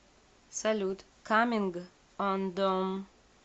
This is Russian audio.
салют каминг андон